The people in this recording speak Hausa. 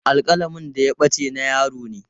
Alƙalamin da ya ɓace na yaron ne.